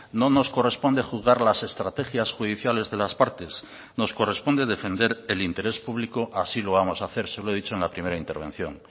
no nos corresponde juzgar las estrategias judiciales de las partes nos corresponde defender el interés público así lo vamos a hacer se lo he dicho en la primera intervención